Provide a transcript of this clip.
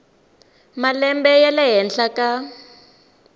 malembe ya le henhla ka